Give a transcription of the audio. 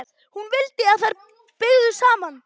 Hún vildi að þær byggju þar saman.